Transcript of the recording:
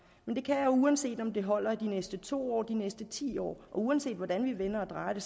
men det kan uanset om det holder de næste to år eller de næste ti år og uanset hvordan vi vender og drejer det